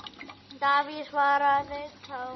Davíð svaraði þá